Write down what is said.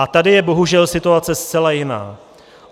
A tady je bohužel situace zcela jiná.